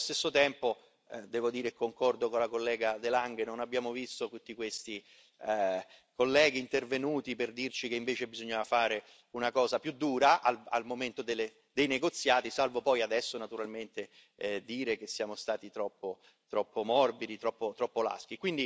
Allo stesso tempo, devo dire, concordo con la collega de Lange non abbiamo visto tutti questi colleghi intervenuti per dirci che invece bisognava fare una cosa più dura al momento dei negoziati, salvo poi adesso naturalmente dire che siamo stati troppo morbidi, troppo laschi.